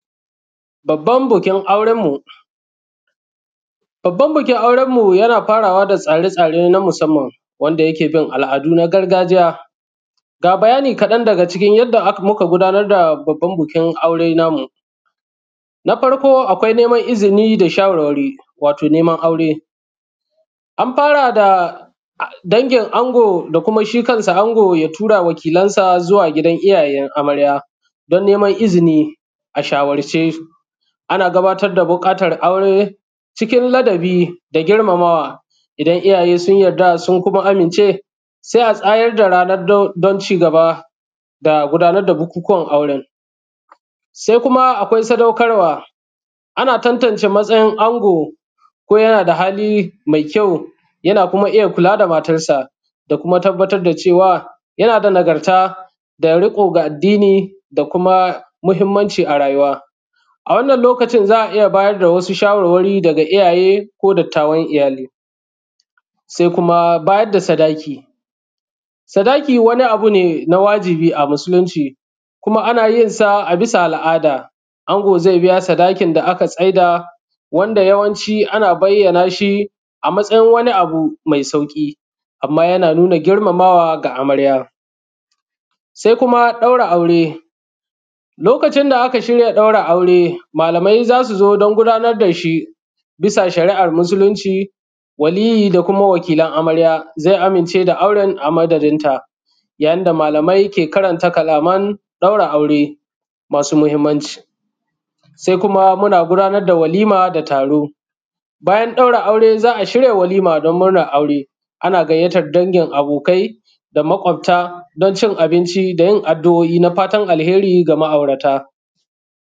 Babban bikin auren mu. Babban bikin aurenmu yana fara wa da tsare-tsare na musamman wanda yake bin al’adu na gargajiya. Ga bayanai ƙaɗan daga cikin yadda muka gudanar da babban bikin aure namu, na farko akwai neman izini da shawarwari wato neman aure, an fara da dangin ango da kuma shi kansa ango ya tura wakilan sa zuwa wajen gidajen amarya dan neman izini. A shawarce ana gabatar da buƙata aure cikin ladabi da girmamawa, idan iyaye sun yarda sun kuma amince se a tsayar da rana don ci gaba da gudanar da bukunkuwan auren, sai kuma akwai sadukarwa ana tantance matsayin ango ko yana da hali mai kyau yana kuma iya kula da matarsa da kuma tabbatar da cewa yana da nagarta da kuma riƙo na addini da kuma muhinmanci a rayuwa. A wannan lokacin za a iya bayar da shawarwari daga iyaye ko dattawan iyali se kuma bayar da sadaki, sadaki wani abu ne na wajibi a musulunci kuma ana yin sa a bisa al’ada ango ze biya sadakin da aka tsaida wanda yawanci ana bayyana shi a matsayin wani abu me sauƙi, amma yana nuna girmamawa da amarya se kuma ɗaura aure lokacin da aka sa ɗaura aure malamai za su zo don gudanar da shi bisa shari’ar musulunci, waliyi da kuma wakilan amarya ze amince da auren a madadinta yayin da malamai ke karanta karatun ɗaura aure masu muhinmanci, se kuma muna gudanar da walima da taro. Bayan ɗaura aure za a shirya walima don murnar aure, ana gayyatan dangin abokai da maƙofta don cin abnci da yin addu’oi na fatan alheri da ma’aurata.